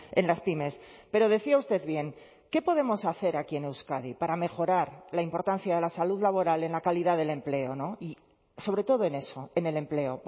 en las pymes pero decía usted bien qué podemos hacer aquí en euskadi para mejorar la importancia de la salud laboral en la calidad del empleo y sobre todo en eso en el empleo